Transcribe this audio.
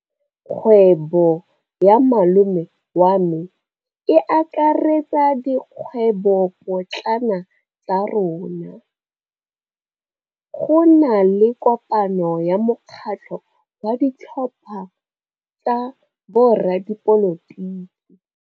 Kgwêbô ya malome wa me e akaretsa dikgwêbôpotlana tsa rona. Go na le kopanô ya mokgatlhô wa ditlhopha tsa boradipolotiki.